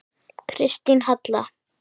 Kristín Halla.